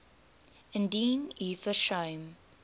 indien u versuim